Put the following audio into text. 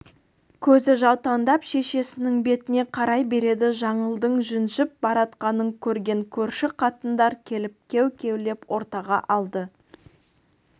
көзі жаутаңдап шешесінің бетіне қарай береді жаңылдың жүнжіп баратқанын көрген көрші қатындар келіп кеу-кеулеп ортаға алды